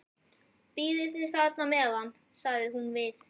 Bíðið þið bara á meðan, sagði hún við